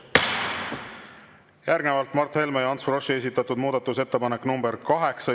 Järgnevalt Mart Helme ja Ants Froschi esitatud muudatusettepanek nr 8.